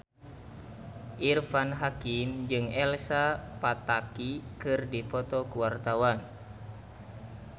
Irfan Hakim jeung Elsa Pataky keur dipoto ku wartawan